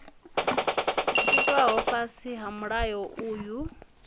itwaho fhasi ha mulayo uyu